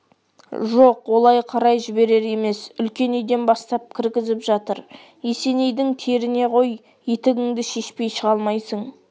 жоқ олай қарай жіберер емес үлкен үйден бастап кіргізіп жатыр есенейдің теріне ғой етігіңді шешпей шыға алмайсың